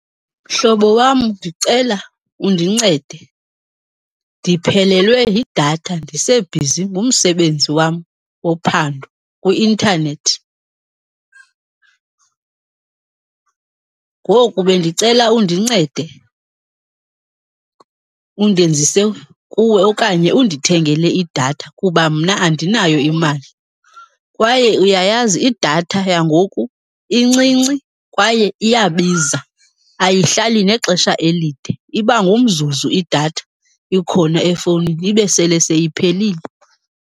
Mhlobo wam, ndicela undincede. Ndiphelelwe yidatha ndisebhizi ngumsebenzi wam wophando kwi-intanethi ngoku bendicela undincede undenzise kuwe okanye undithengele idatha kuba mna andinayo imali. Kwaye uyayazi idatha yangoku incinci kwaye iyabiza, ayihlali nexesha elide Iba ngumzuzu idatha ikhona efowunini ibe sele seyiphelile.